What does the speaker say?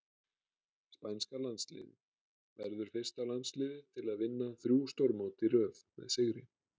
Spænska landsliðið- Verður fyrsta landsliðið til að vinna þrjú stórmót í röð með sigri.